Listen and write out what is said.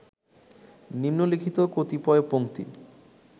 নিন্মলিখিত কতিপয় পংক্তি